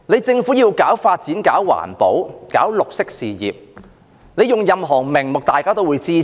政府以任何名目搞發展、搞環保、搞綠色事業，大家也會支持。